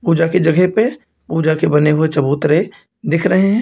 पूजा की जगह पे पूजा के बने हुए चबूतरे दिख रहे हैं।